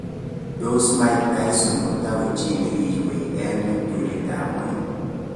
Tos Mike Tyson kotoko 'chi nikiyuei' nea eng ptulit ab ngweny?